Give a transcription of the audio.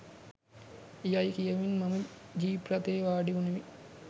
යයි කියමින් මම ජීප් රථයේ වාඩිවුනෙමි.